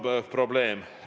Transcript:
Kus on probleem?